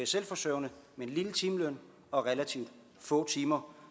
selvforsørgende med en lille timeløn og relativt få timer